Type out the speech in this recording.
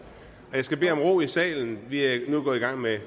jeg skal bede om ro i salen vi er nu gået i gang med